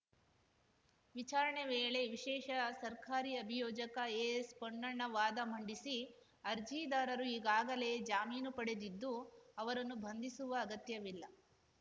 ವಿಚಾರಣೆ ವೇಳೆ ವಿಶೇಷ ಸರ್ಕಾರಿ ಅಭಿಯೋಜಕ ಎಎಸ್‌ ಪೊನ್ನಣ್ಣ ವಾದ ಮಂಡಿಸಿ ಅರ್ಜಿದಾರರು ಈಗಾಗಲೇ ಜಾಮೀನು ಪಡೆದಿದ್ದು ಅವರನ್ನು ಬಂಧಿಸುವ ಅಗತ್ಯವಿಲ್ಲ